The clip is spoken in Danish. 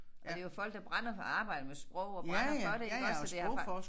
Og det jo folk der brænder for at arbejde med sprog og brænder for det iggås så det jo fa